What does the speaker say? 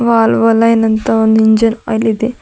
Wall ವಲೈನ್ ಅಂತ ಒಂದು engine oil ಇದೆ.